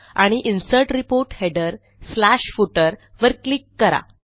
आणि insert report headerफुटर वर क्लिक करा